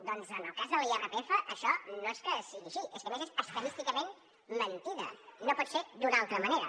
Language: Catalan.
doncs en el cas de l’irpf això no és que sigui així és que a més és estadísticament mentida no pot ser d’una altra manera